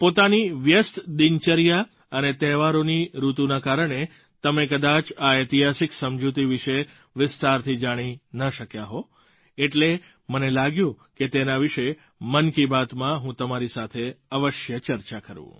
પોતાની વ્યસ્ત દિનચર્યા અને તહેવારોની ઋતુના કારણે તમે કદાચ આ ઐતિહાસિક સમજૂતી વિશે વિસ્તારથી જાણી ન શક્યા હો એટલે મને લાગ્યું કે તેના વિશે મન કી બાતમાં હું તમારી સાથે અવશ્ય ચર્ચા કરું